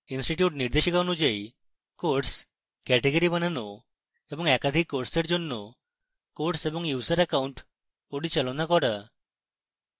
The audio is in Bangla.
institute নির্দেশিকা অনুযায়ী courses category বানানো এবং একাধিক কোর্সের জন্য courses এবং user অ্যাকাউন্ট পরিচালনা করুন